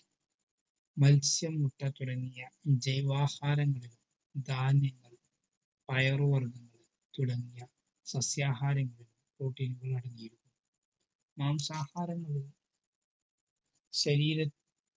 മത്സ്യ ങ്ങളിലും ജൈവാഹാരങ്ങളിലും ധാന്യങ്ങൾ പയർ വർഗങ്ങൾ തുടങ്ങിയ സസ്യ ആഹാരങ്ങളിൽ protein നുകൾ അടങ്ങീരുന്നു മംസാഹാരങ്ങളിൽ ശരീര